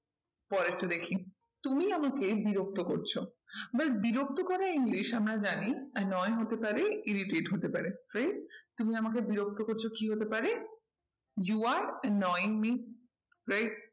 পরেরটা দেখি, তুমি আমাকে বিরক্ত করছো এবার বিরক্ত করা english আমরা জানি annoying হতে পারে irritated হতে পারে। তুমি আমাকে বিরক্ত করছো কি হতে পারে। you are annoying me right